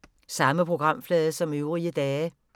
Samme programflade som øvrige dage